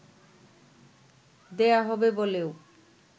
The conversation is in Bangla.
দেয়া হবে বলেও